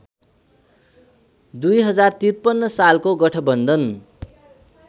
०५३ सालको गठवन्धन